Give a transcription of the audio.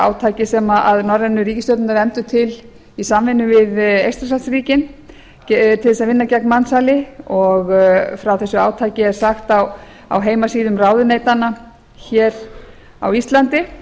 átaki sem norrænu ríkisstjórnirnar efndu til í samvinnu við eystrasaltsríkin til þess að vinna gegn mansali og frá þessu átaki er sagt á heimasíðum ráðuneytanna hér á íslandi